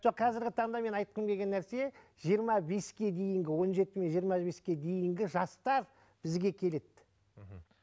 жоқ қазіргі таңда менің айтқым келген нәрсе жиырма беске дейінгі он жеті мен жиырма беске дейінгі жастар бізге келеді мхм